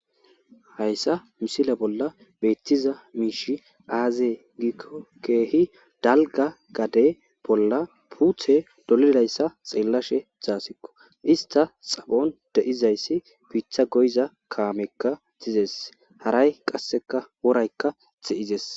hayssa misile bolla beettiza miishi aazee giikko keehi dalga gade bolla puuthe dolidayssa xeellashe zaasikko ista xaphon de7izayssi piitha goyza kaamekka tizes haray qasseka woraykka xe7izes